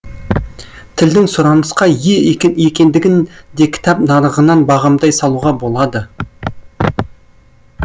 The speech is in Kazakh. тілдің сұранысқа ие екендігін де кітап нарығынан бағамдай салуға болады